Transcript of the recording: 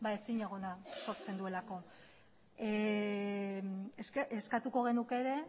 ezinegona sortzen duelako eskatuko genuke ere